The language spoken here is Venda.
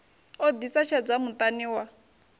o ḓisa tshedza muṱani wa